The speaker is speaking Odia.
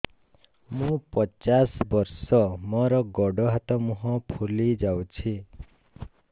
ମୁ ପଚାଶ ବର୍ଷ ମୋର ଗୋଡ ହାତ ମୁହଁ ଫୁଲି ଯାଉଛି